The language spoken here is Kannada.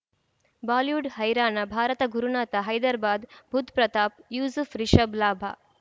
ಬಾಲಿವುಡ್ ಹೈರಾಣ ಭಾರತ ಗುರುನಾಥ ಹೈದರಾಬಾದ್ ಬುಧ್ ಪ್ರತಾಪ್ ಯೂಸುಫ್ ರಿಷಬ್ ಲಾಭ